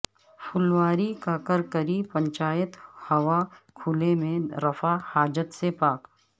پھلواری کا کرکری پنچایت ہوا کھلے میں رفع حاجت سے پاک